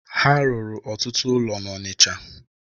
Ha rụrụ ọtụtụ ụlọ n'Ọnịcha.